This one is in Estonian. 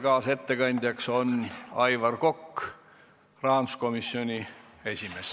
Kaasettekandja on Aivar Kokk, rahanduskomisjoni esimees.